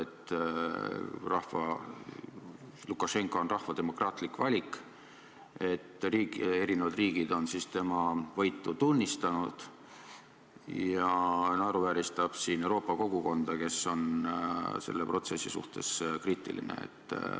Ta rõhutab, et Lukašenka on rahva demokraatlik valik ja et eri riigid on tema võitu tunnistanud, ning naeruvääristab Euroopa kogukonda, kes on selle protsessi suhtes kriitiline.